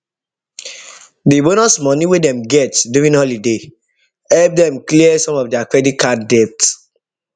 dey bonus money wey dem get during holiday help dem clear some of their credit card debt